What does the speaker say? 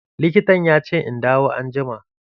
Likitan ya ce in dawo anjima.